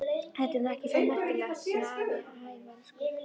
Þetta er nú ekki svo merkilegt! sagði afi hæverskur.